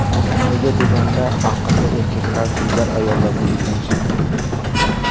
Nega deganda aqlli erkaklar dilbar ayollarga uylanishmaydi.